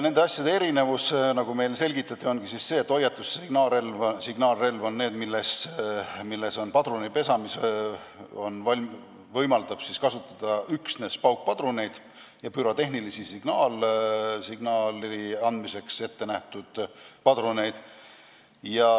Nende asjade erinevus, nagu meile selgitati, on see, et hoiatus- ja signaalrelv on need, milles on padrunipesa, mis võimaldab kasutada üksnes paukpadruneid ja pürotehnilise signaali andmiseks ettenähtud padruneid.